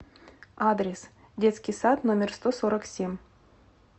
адрес детский сад номер сто сорок семь